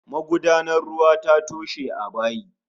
Magudanar ruwa ta toshe a bayi